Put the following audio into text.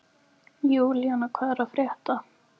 Júlína, hvað er að frétta?